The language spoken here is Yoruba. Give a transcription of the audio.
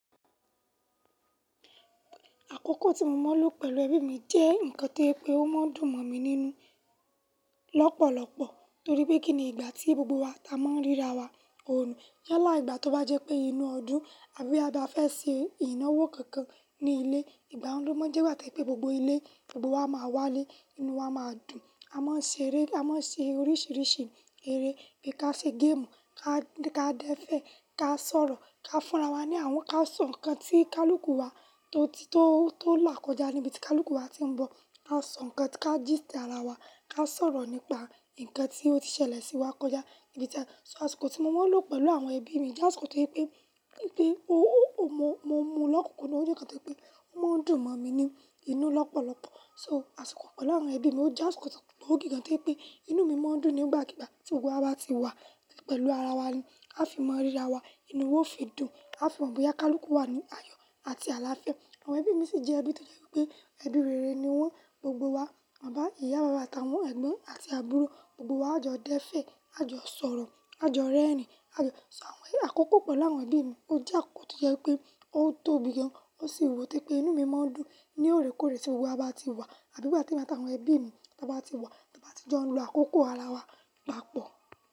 Àkókò tí mo mọ́ ló pẹ̀lú ẹbí mi jẹ́ nǹkan tó jẹ́ pé ó máa ń dùn mọ̀ mí nínú lọ́pọ̀lọpọ̀ torí pé kíni ìgbà tí gbogbo wa ta mọ́ ríra wa oòrùn. Yálà ìgbà tó bá jẹ́ pé inú ọdún àbí a bá fẹ́ ṣe ìnáwó kankan ní ilé, ìgbà wo ló máa ń jẹ́ ìgbà tí pé gbogbo ilé, gbogbo wa máa wálé, inú wa máa dùn. A máa ń ṣe eré, a máa ń ṣe oríṣìíríṣìí eré bí i ká ṣe game, ká dẹ́fẹ̀, ká sọ̀rọ̀, ká fúnra wa ní àwọn ká sọ nǹkan tí kálúkù wa tó ti tó là kọjá níbi tí kálúkù wa ti ń bọ̀. A máa ń sọ nǹkan, ká gist ara wa, ká sọ̀rọ̀ nípa nǹkan tí ó ti ṣẹlẹ̀ sí wa kọjá níbi tí a. So àsìkò tí mo mọ́ ló pẹ̀lú àwọn ẹbí mi jẹ́ àsìkò tó pé pé mo mu lọkunkundun, ó jẹ́ nǹkan tó jẹ́ pé ó máa ń dùn mọ̀ mí nínú lọ́pọ̀lọpọ̀. So àsìkò pẹ̀lú àwọn ẹbí mi ó jẹ́ àkókò tó pé ó tóbi gan, tó jẹ́ wípé inú mi máa ń dùn nigbakigba tí gbogbo wa bá ti wà pẹ̀lú ara wa ni. A fi mọ́ ríra wa, inú ó fi dùn, a fi mọ̀ bọ́yá kálúkù wà ní ayọ̀ àti àlàáfíà. Àwọn ẹbí mi sì jẹ́ ẹbí tó jẹ́ pé ẹbí rere ni wọ́n gbogbo wa. Bàbá, ìyá, àta wọn, ẹ̀gbọ́n àti àbúrò gbogbo wa a jọ dẹ́fẹ̀, a jọ sọ̀rọ̀, a jọ rẹ́rìn-ín, a jọ. So àwọn àkókò pẹ̀lú àwọn ẹbí mi ó jẹ́ àkókò tó jẹ́ pé ó tóbi gan, ó sì wù tí pé inú mi máa ń dùn ní òrekoore tí gbogbo wa bá ti wà àbí bá ti wá táwọn ẹbí mi bá ti wá tí a bá ti jọ ń lo àkókò ara wa papọ̀.